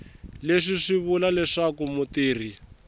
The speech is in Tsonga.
leswi swi vula leswaku mutirhi